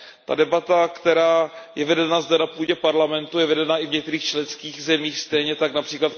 Ta debata, která je vedena zde na půdě Parlamentu, je vedena i v některých členských zemích, stejně tak např.